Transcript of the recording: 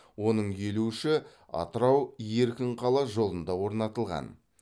оның елу үші атырау еркінқала жолында орнатылған